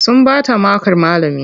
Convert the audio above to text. Sun bata makar malamin.